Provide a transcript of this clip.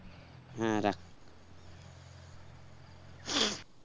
হম রাখ